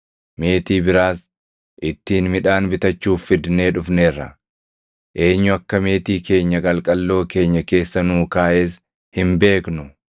Meetii biraas ittiin midhaan bitachuuf fidnee dhufneerra. Eenyu akka meetii keenya qalqalloo keenya keessa nuu kaaʼes hin beeknu.”